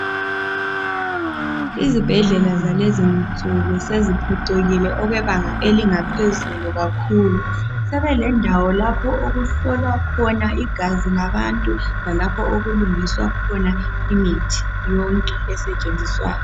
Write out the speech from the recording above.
Izibhedlela zalezinsuku seziphucukile okwebanga elingaphezulu kakhulu. Sebelendawo lapho okuhlolwa khona igazi labantu lalapho okulungiswa khona imithi yonke esetshenziswayo.